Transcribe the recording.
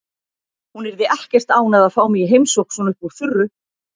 Hún yrði ekkert ánægð að fá mig í heimsókn svona upp úr þurru.